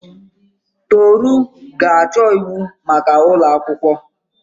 Toru ga-achọ ịwụ maka ụlọ akwụkwọ.